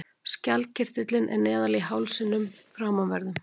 Skjaldkirtillinn er neðarlega í hálsinum framanverðum.